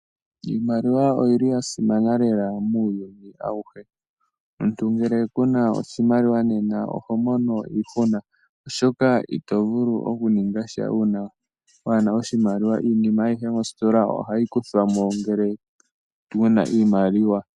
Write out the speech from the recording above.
Iimaliwa oyili yasimana lela muuyuni awuhe . Omuntu ngele kuna oshimaliwa nena ohomono iihuna oshoka itovulu okuningasha uuna waana oshimaliwa. Iinima ayihe moositola ohayi kuthwamo ngele wuna iimaliwa